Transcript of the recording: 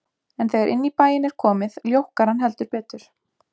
En þegar inn í bæinn er komið, ljókkar hann heldur betur.